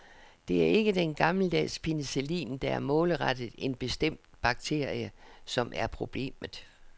Det er ikke den gammeldags penicillin, der er målrettet en bestemt bakterie, som er problemet.